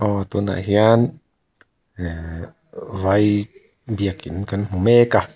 aw tunah hian eeeh vaiii biak in kan hmu mek a.